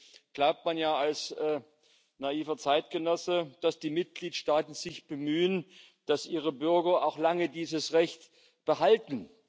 Nun glaubt man ja als naiver Zeitgenosse, dass die Mitgliedstaaten sich bemühen, dass ihre Bürger auch lange dieses Recht behalten.